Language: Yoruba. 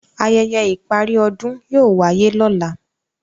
ayẹyẹ ìparí ọdún yóò wáyé lọ́la.